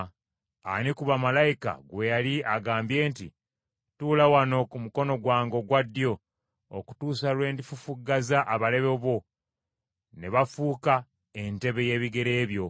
Ani ku bamalayika gwe yali agambye nti, “Tuula wano ku mukono gwange ogwa ddyo, okutuusa lwe ndifufuggaza abalabe bo, ne bafuuka entebe y’ebigere byo”?